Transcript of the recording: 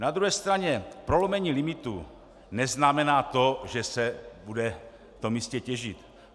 Na druhé straně prolomení limitů neznamená to, že se bude v tom místě těžit.